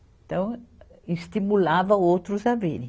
Então, estimulava outros a virem.